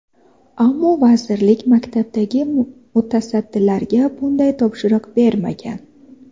Ammo vazirlik maktabdagi mutasaddilarga bunday topshiriq bermagan.